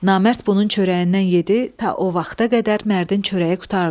Namərd bunun çörəyindən yedi, ta o vaxta qədər Mərdin çörəyi qurtardı.